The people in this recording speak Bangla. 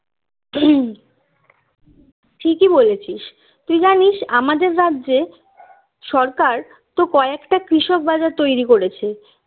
ঠিকই বলেছিস তুই জানিস আমাদের রাজ্যে সরকার তো কয়েকটা কৃষক বাজার তৈরি করেছে